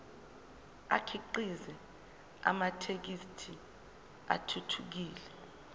akhiqize amathekisthi athuthukile